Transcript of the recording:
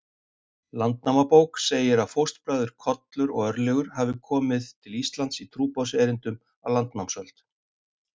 Landnámabók segir að fóstbræðurnir Kollur og Örlygur hafi komið til Íslands í trúboðserindum á landnámsöld.